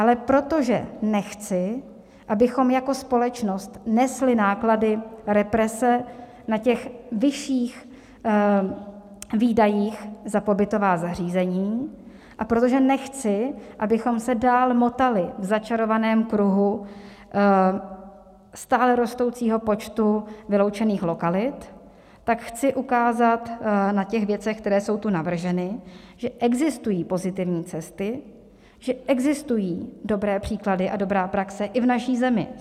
Ale protože nechci, abychom jako společnost nesli náklady represe na těch vyšších výdajích za pobytová zařízení, a protože nechci, abychom se dál motali v začarovaném kruhu stále rostoucího počtu vyloučených lokalit, tak chci ukázat na těch věcech, které jsou tu navrženy, že existují pozitivní cesty, že existují dobré příklady a dobrá praxe i v naší zemi.